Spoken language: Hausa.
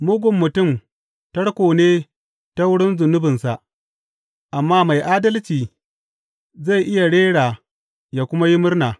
Mugun mutum tarko ne ta wurin zunubinsa, amma mai adalci zai iya rera ya kuma yi murna.